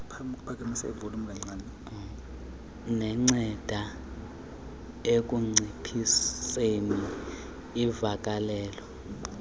nenceda ekunciphiseni uvakalelo